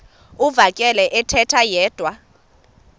uvakele ethetha yedwa